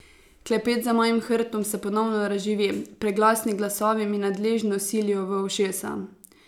Klepet za mojim hrbtom se ponovno razživi, preglasni glasovi mi nadležno silijo v ušesa.